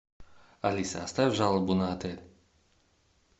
алиса оставь жалобу на отель